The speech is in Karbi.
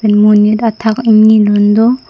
monit athak ingni lun do.